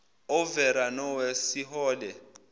overa nowest sihole